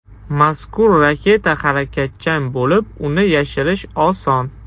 Mazkur raketa harakatchan bo‘lib, uni yashirish oson.